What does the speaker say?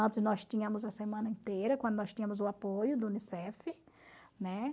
Antes nós tínhamos a semana inteira, quando nós tínhamos o apoio do Unicef, né?